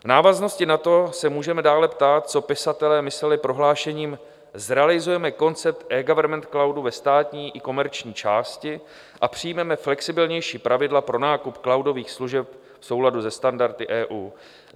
V návaznosti na to se můžeme dále ptát, co pisatelé mysleli prohlášením: Zrealizujeme koncept eGovernment cloudu ve státní i komerční části a přijmeme flexibilnější pravidla pro nákup cloudových služeb v souladu se standardy EU.